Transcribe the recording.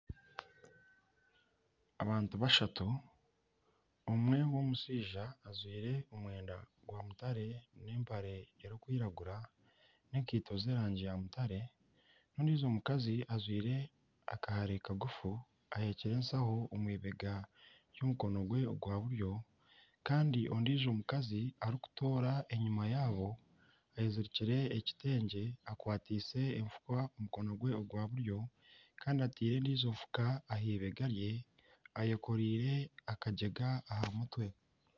Abantu bashatu omwe n'omushaija ajwaire omwenda gwamutare n'empare erikwiragura n'enkaito z'erangi yaamutare n'ondiijo mukazi ajwire akahare kagufu ahekire enshaho omu eibega omu mukono gwe gwa buryo kandi ondiijo mukazi arikutoora enyima yaabo eyezirikire ekitengye akwatiise efuka omu mukono gwe ogwa buryo kandi ataire endiijo nfuka aha eibega rye ayekoreire akagyega